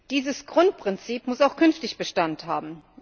Dieses Grundprinzip muss auch künftig Bestand haben.